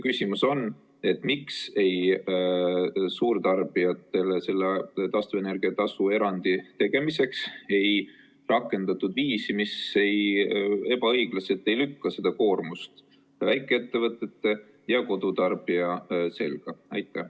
Küsimus on: miks suurtarbijatele taastuvenergia tasu erandi tegemiseks ei rakendatud viisi, mis ebaõiglaselt ei lükka seda koormust väikeettevõtete ja kodutarbijate selga?